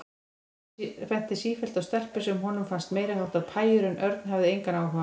Hann benti sífellt á stelpur sem honum fannst meiriháttar pæjur en Örn hafði engan áhuga.